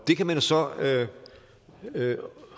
det kan man så